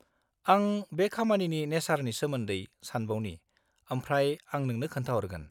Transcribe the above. आं बे खामानिनि नेचरनी सोमोन्दै सानबावनि आमफ्राय आं नोंनो खोन्थाहरगोन।